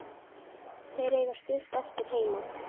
Þeir eiga stutt eftir heim.